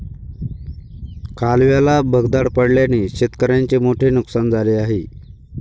कालव्याला भगदाड पडल्याने शेतकऱ्यांचे मोठे नुकसान झाले आहे.